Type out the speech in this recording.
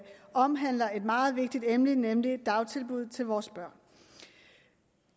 og omhandler et meget vigtigt emne nemlig dagtilbud til vores børn